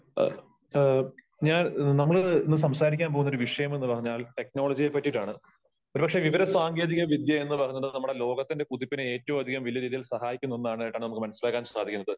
ഞാൻ നമ്മള് ഇന്നു സംസാരിക്കാൻ പോകുന്ന ഒരു വിഷയമെന്ന് പറഞ്ഞാൽ ടെക്നോളജിയെ പറ്റിയിട്ടാണ് . ഒരു പക്ഷേ വിവര സാങ്കേതിക വിദ്യ എന്ന് പറഞ്ഞത് നമ്മുടെ ലോകത്തിന്റെ കുതിപ്പിനെ ഏറ്റവും അധികം വലിയ രീതിയിൽ സഹായിക്കും എന്നാണ് കേട്ടാൽ നമുക്ക് മനസ്സിലാക്കാൻ സാധിക്കുന്നത് .